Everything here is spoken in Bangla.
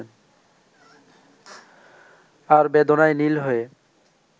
আর বেদনায় নীল হয়ে